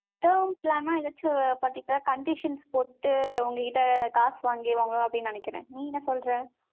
term plan ன்னா, conditions போட்டு, உங்க கிட்ட காசு வாங்கிருவாங்க, அப்படின்னு நினைக்கிறேன். நீ என்ன சொல்ற?